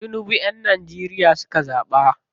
Tinibu yan Nageria suka zaɓa.